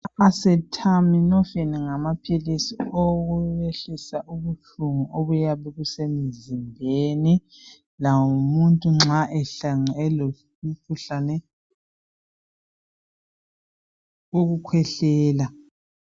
Ama Acetaminophen ngamaphilisi owokwehlisa ubuhlungu obuyabe busemzimbeni lanxa umuntu ehlangane lomkhuhlane wokukhwehlela